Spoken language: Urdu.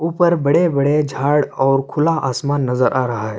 ءپر بدع- بدع جھاڑ اءر کھولا اسماان نزر آ رحا حی۔